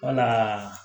Ka na